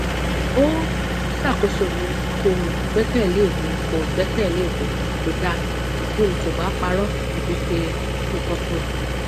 o ṣakoso mi kò gbẹkẹlé mi kò gbẹkẹlé mi kódà bí n kò bá parọ tàbí ṣe nǹkankan